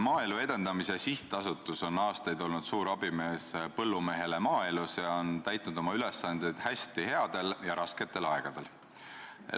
Maaelu Edendamise Sihtasutus on aastaid olnud suur abimees põllumehele ja täitnud oma ülesandeid hästi nii headel kui ka rasketel aegadel.